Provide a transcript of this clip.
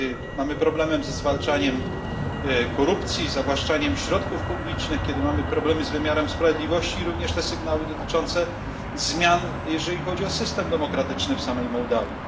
Kiedy mamy problemy ze zwalczaniem korupcji, zawłaszczaniem środków publicznych, kiedy mamy problemy z wymiarem sprawiedliwości, również te sygnały dotyczące zmian, jeżeli chodzi o system demokratyczny w samej Mołdawii.